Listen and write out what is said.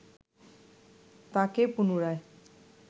তাঁকে পুনরায়